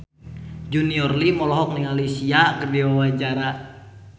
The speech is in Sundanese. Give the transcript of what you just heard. Junior Liem olohok ningali Sia keur diwawancara